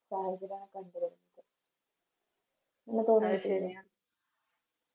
സാഹചര്യയാണ് കണ്ട് വരുന്നത്